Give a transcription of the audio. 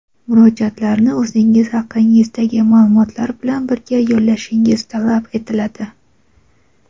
murojaatlarni o‘zingiz haqingizdagi maʼlumotlar bilan birga yo‘llashingiz talab etiladi.